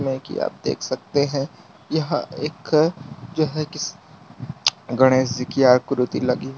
में की आप देख सकते हैं। यहां एक जो है कि गणेश जी की आकृति लगी --